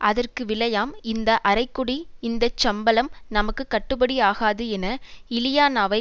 அதற்கு விலையாம் இந்த அரைகோடி இந்த சம்பளம் நமக்கு கட்டுப்படியாகாது என இலியானாவை